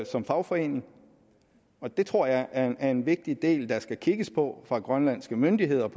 som fagforening og det tror jeg er er en vigtig del der skal kigges på fra de grønlandske myndigheders